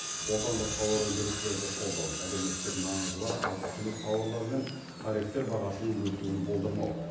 отандық тауар өндірушілерді қолдау әлеуметтік маңызы бар азық түлік тауарлары мен тарифтер бағасының өсуін болдырмау